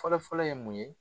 Fɔlɔfɔlɔ ye mun ye